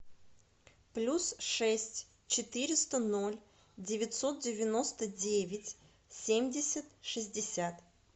плюс шесть четыреста ноль девятьсот девяносто девять семьдесят шестьдесят